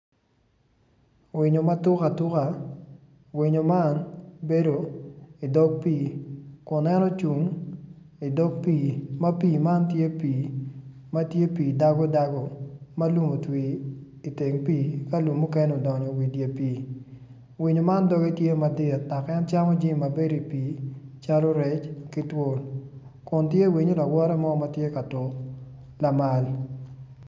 Winyo ma tuk atuka winyo man bedo idog piik kun en ocung idog pii ma pii man tye pii dago dago ma lum otwii iteng pii ka lum mukene odonyo wa idye pii winyo man doge tye madit dok en camo jami calo rec ki twol kun tye winyo lawote mo ma tye ka tuk lamal.